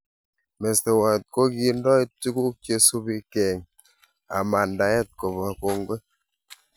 Mestowot kokindoi tukuk che subi keeng amandaet koba kongoi